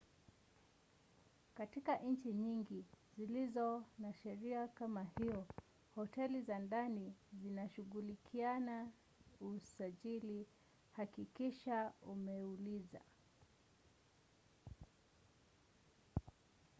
katika nchi nyingi zilizo na sheria kama hiyo hoteli za ndani zitashughulikia usajili hakikisha umeuliza